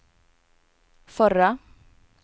förra